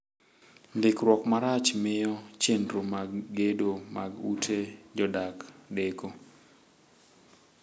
Ndikruok marach miyo chenro mag gedo mag ute jodak deko.